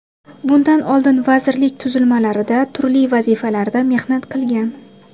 Bundan oldin vazirlik tuzilmalarida turli vazifalarda mehnat qilgan.